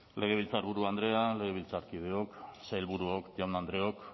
legebiltzarburu andrea legebiltzarkideok sailburuok jaun andreok